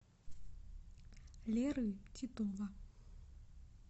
леры титова